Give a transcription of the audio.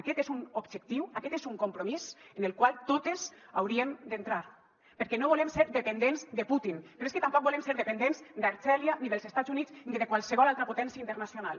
aquest és un objectiu aquest és un compromís en el qual totes hauríem d’entrar perquè no volem ser dependents de putin però és que tampoc volem ser dependents d’algèria ni dels estats units ni de qualsevol altre potència internacional